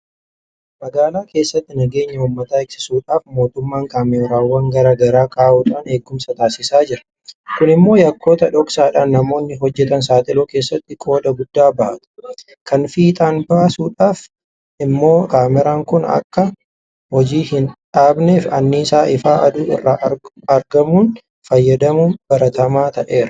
Magaalaa keessatti nageenya uummata eegsisuudhaaf mootummaan kaameraawwan garaa garaa kaa'uudhaan eegumsa taasisaa jira. Kun immoo yakkoota dhoksaadhaan namoonni hojjetan saaxiluu keessatti qooda guddaa bahata. Kana fiixaan baasuudhaaf immoo kaameraan kun akka hojii hin dhaabneef anniisaa ifa aduu irraa argamuun fayyadamuun baratamaa ta'eera.